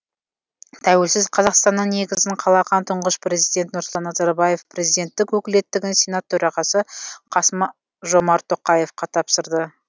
тәуелсіз қазақстанның негізін қалаған тұңғыш президент нұрсұлтан назарбаев президенттік өкілеттігін сенат төрағасы қасым жомарт тоқаевқа тапсырды